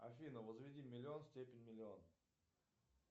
афина возведи миллион в степень миллион